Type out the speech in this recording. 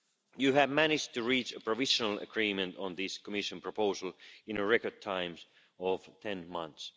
You have managed to reach a provisional agreement on this Commission proposal in a record time of 10 months.